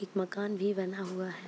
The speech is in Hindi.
एक मकान भी बना हुआ है।